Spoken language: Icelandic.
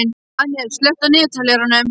Daniel, slökktu á niðurteljaranum.